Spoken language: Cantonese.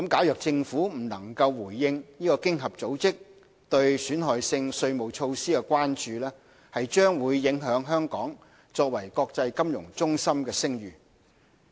若政府未能回應經合組織對損害性稅務措施的關注，將會影響香港作為國際金融中心的聲譽。